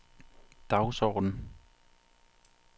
dagsorden